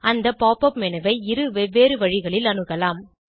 அந்த pop up menu ஐ இரு வெவ்வேறு வழிகளில் அணுகலாம்